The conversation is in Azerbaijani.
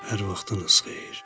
Hər vaxtınız xeyir.